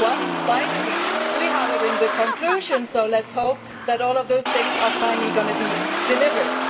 But for once, finally, we have it in the conclusions, so let us hope that all of those things are finally going to be delivered.